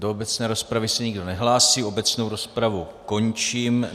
Do obecné rozpravy se nikdo nehlásí, obecnou rozpravu končím.